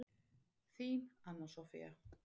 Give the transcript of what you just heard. Þín, Anna Soffía.